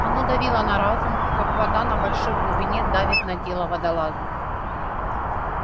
оно давило на разум как вода на большой глубине давит на тело водолаза